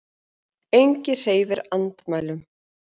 Enginn hreyfir andmælum.